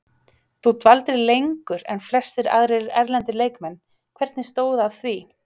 Þú dvaldir lengur en flestir aðrir erlendir leikmenn, hvernig stóð að því?